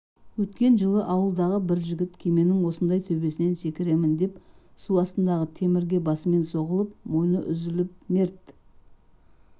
өткен жылы ауылдағы бір жігіт кеменің осындай төбесінен секіремін деп су астындағы темірге басымен соғылып мойыны үзіліп мерт